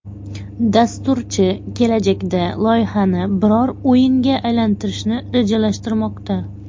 Dasturchi kelajakda loyihani biror o‘yinga aylantirishni rejalashtirmoqda.